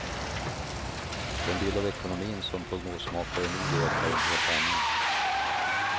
Den bild av ekonomin som prognosmakare nu ger är en helt annan.